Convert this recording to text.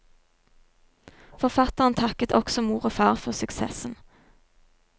Forfatteren takket også mor og far for suksessen.